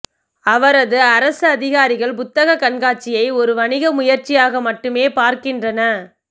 அவரது அரசதிகாரிகள் புத்தகக் கண்காட்சியை ஒரு வணிக முயற்சியாக மட்டுமே பார்க்கின்றன